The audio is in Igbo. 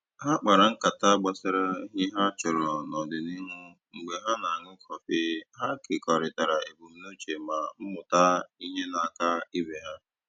Ha kpara nkata gbasara ihe ha chọrọ n'ọdịnihu mgbe ha na-aṅụ kọfị, ha kekọrịtara ebumnuche ma mmụta ihe n'aka ibe ha